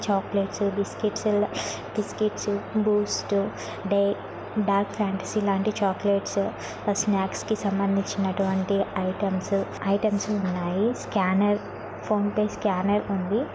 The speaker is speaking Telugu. Chocolates biscuits biscuits Boost day Dark Fantasy లాంటి చాక్లెట్స్ స్నాక్స్ కి సంబందించినటువంటి ఐటెమ్స్ ఐటెమ్స్ ఉన్నాయి స్కానర్ ఫోన్ పే స్కానర్ ఉంది.